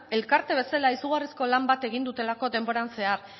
elkarte bezala izugarrizko lan bat egin dutelako denboran zehar